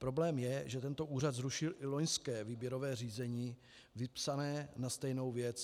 Problém je, že tento úřad zrušil i loňské výběrové řízení vypsané na stejnou věc.